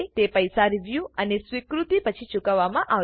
તે પૈસા રીવ્યુ અને સ્વીકૃતિ પછી ચૂકવવામાં આવશે